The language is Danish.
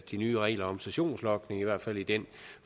de nye regler om sessionslogning i hvert fald i den